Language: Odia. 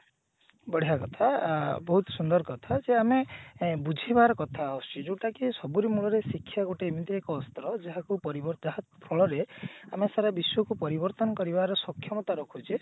ବଢିଆ କଥା ଅ ବହୁତ ସୁନ୍ଦର କଥା ଯେ ଆମେ ଏ ବୁଝେଇବାର କଥା ଯୋଉଟା କି ସବୁରି ମୂଳରେ ଶିକ୍ଷା ଗୋଟିଏ ଏମିତି ଏକ ଅସ୍ତ୍ର ଯାହାକୁ କରିବ ତାହା ଫଳରେ ଆମେ ସାରା ବିଶ୍ଵକୁ ପରିବର୍ତନ କରିବାର ସକ୍ଷମତା ରଖୁଛି